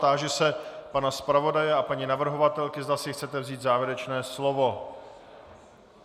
Táži se pana zpravodaje a paní navrhovatelky, zda si chcete vzít závěrečné slovo.